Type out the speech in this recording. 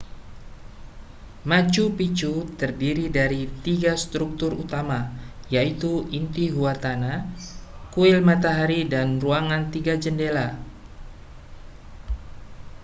machu picchu terdiri dari tiga struktur utama yaitu intihuatana kuil matahari dan ruangan tiga jendela